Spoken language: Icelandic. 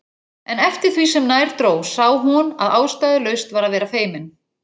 En eftir því sem nær dró sá hún að ástæðulaust var að vera feimin.